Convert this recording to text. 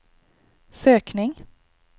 sökning